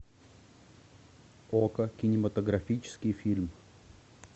око кинематографический фильм